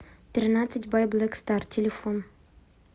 тринадцать бай блэк стар телефон